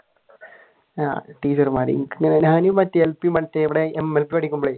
ടീച്ചർമാർ ഞാൻ L P മറ്റേ പഠിക്കുമ്പോഴേ